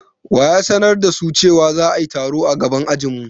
Wa ya sanar da su cewa za'ayi taro a gaban ajin mu?